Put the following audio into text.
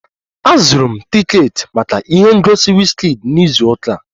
Azụrụ m tiketi maka ihe ngosi Wizkid na izu ụka a